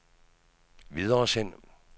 videresend